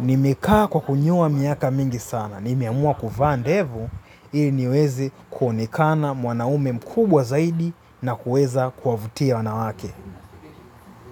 Nimekaa kwa kunyoa miaka mingi sana. Nimeamua kuvaa ndevu, ili niweze kuonekana mwanaume mkubwa zaidi na kuweza kuwavutia wanawake.